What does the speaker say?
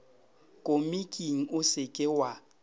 komiking o se ke wa